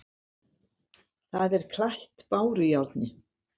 Það er klætt bárujárni.